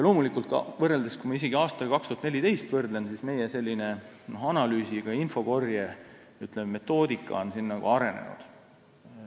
Loomulikult, isegi aastaga 2014 võrreldes on meie analüüsi- ja infokorje metoodika arenenud.